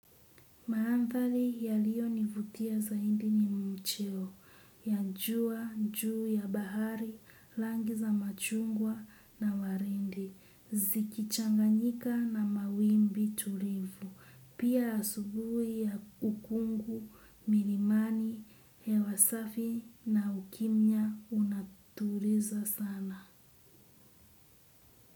Maanthali yaliyo nivutia zaindi ni mcheo, ya njua, njuu ya bahari, langi za machungwa na warindi, zikichanganyika na mawimbi tulivu pia asubui ya ukungu milimani hewa safi na ukimya unatuliza sana.